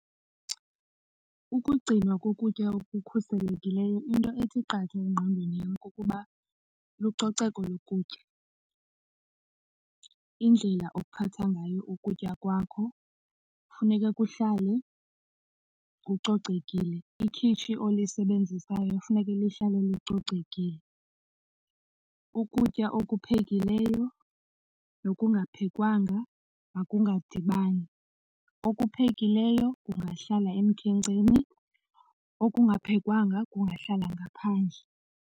Ukugcinwa kokutya okukhuselekileyo into ethi qatha engqondweni yam kukuba lucoceko lokutya. Indlela ophatha ngayo ukutya kwakho funeke kuhlale kucocekile. Ikhitshi olisebenzisayo funeke lihlale licocekile. Ukutya okuphekileyo nokungaphekwanga makungadibani. Okuphekileyo kungahlala emkhenkceni okungaphekwanga kungahlala ngaphandle.